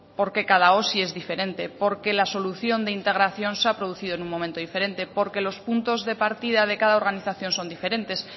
porque cada osi es diferente porque la solución de integración se ha producido en un momento diferente porque los puntos de partida de cada organización son diferentes